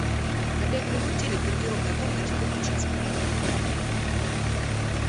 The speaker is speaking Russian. на пять минут телек в гардеробной комнате выключить звук